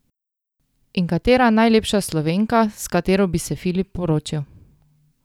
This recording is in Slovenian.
In katera najlepša Slovenka, s katero bi se Filip poročil?